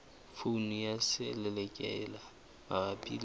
poone ya selelekela mabapi le